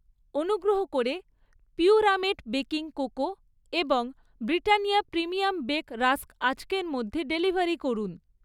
অনুগ্রহ করে পিউরামেট বেকিং কোকো এবং ব্রিটানিয়া প্রিমিয়াম বেক রাস্ক আজকের মধ্যে ডেলিভারি করুন।